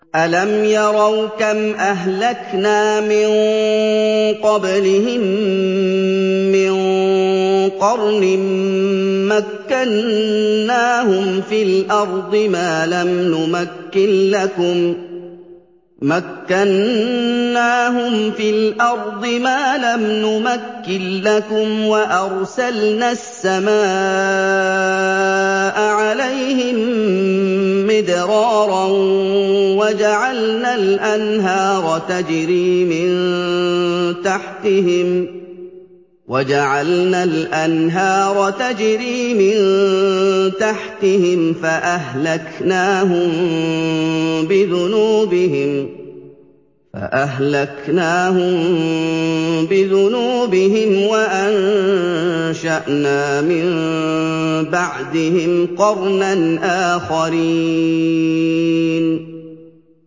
أَلَمْ يَرَوْا كَمْ أَهْلَكْنَا مِن قَبْلِهِم مِّن قَرْنٍ مَّكَّنَّاهُمْ فِي الْأَرْضِ مَا لَمْ نُمَكِّن لَّكُمْ وَأَرْسَلْنَا السَّمَاءَ عَلَيْهِم مِّدْرَارًا وَجَعَلْنَا الْأَنْهَارَ تَجْرِي مِن تَحْتِهِمْ فَأَهْلَكْنَاهُم بِذُنُوبِهِمْ وَأَنشَأْنَا مِن بَعْدِهِمْ قَرْنًا آخَرِينَ